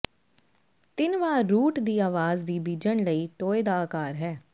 ਤਿੰਨ ਵਾਰ ਰੂਟ ਦੀ ਆਵਾਜ਼ ਦੀ ਬੀਜਣ ਲਈ ਟੋਏ ਦਾ ਅਕਾਰ ਹੈ